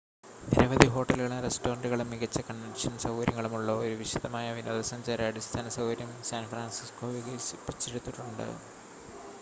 നിരവധി ഹോട്ടലുകളും റെസ്റ്റോറൻ്റുകളും മികച്ച കൺവെൻഷൻ സൗകര്യങ്ങളും ഉള്ള ഒരു വിശാലമായ വിനോദസഞ്ചാര അടിസ്ഥാനസൗകര്യം സാൻ ഫ്രാൻസിസ്കോ വികസിപ്പിച്ചെടുത്തിട്ടുണ്ട്